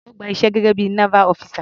Ó gba iṣẹ́ gẹ́gé bí i naval officer.